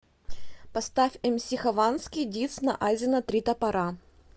поставь мс хованский дисс на азино три топора